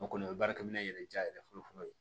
O kɔni o ye baarakɛ minɛ yɛrɛ diya yɛrɛ fɔlɔ fɔlɔ ye